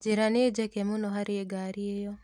Njĩra nĩ njeke mũno harĩ ngari ĩyo